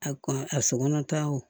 A kɔn a sokɔnɔna ta wo